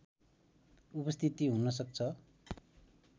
उपस्थिति हुनसक्छ